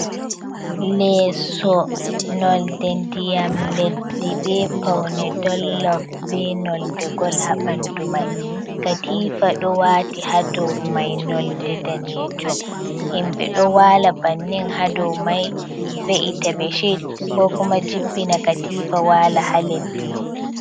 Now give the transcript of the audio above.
Lesso nolde ndiyam leddi, be paune dollof be nolde gol ha bandu mai, katifa ɗo wati ha dow mai nolde danejum, himɓɓe ɗo wala bannin ha dow mai ve’ita beshed ko kuma jippina katifa wala ha leddi.